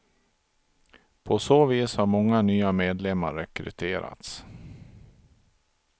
På så vis har många nya medlemmar rekryterats.